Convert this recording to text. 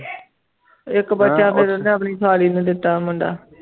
ਇੱਕ ਬੱਚਾ ਫਿਰ ਉਹਨੇ ਆਪਣੀ ਸਾਲੀ ਨੂੰ ਦਿੱਤਾ ਮੁੰਡਾ।